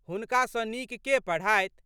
हुनका सँ नीक के पढ़ाएत?